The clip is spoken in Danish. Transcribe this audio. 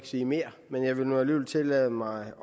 sige mere men jeg vil alligevel tillade mig